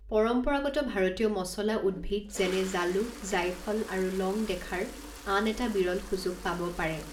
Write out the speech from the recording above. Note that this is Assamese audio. পৰম্পৰাগত ভাৰতীয় মচলা উদ্ভিদ যেনে জালুক, জায়ফল আৰু লং দেখাৰ আন এটা বিৰল সুযোগ পাব পাৰে।